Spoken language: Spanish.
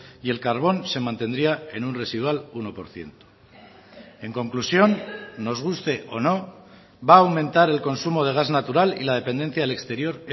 y el carbón se mantendría en un residual uno por ciento en conclusión nos guste o no va a aumentar el consumo de gas natural y la dependencia del exterior